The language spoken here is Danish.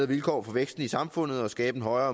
vilkår for væksten i samfundet og skabe en højere